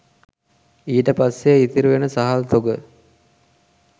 ඊට පස්සේ ඉතිරි වෙන සහල් තොග